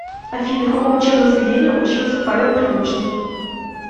афина в каком учебном заведении учился павел прилучныи